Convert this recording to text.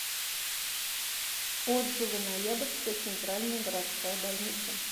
отзывы ноябрьская центральная городская больница